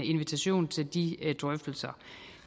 i